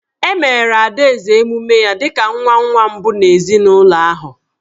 E meere Adaeze emume ya dị ka nwa nwa mbụ n’ezinụlọ ahụ.